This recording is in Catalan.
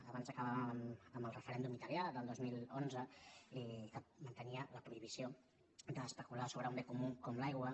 abans acabàvem amb el referèndum italià del dos mil onze que mantenia la prohibició d’especular sobre un bé comú com l’aigua